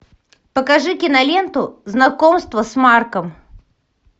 покажи киноленту знакомство с марком